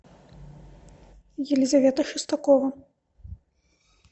елизавета шестакова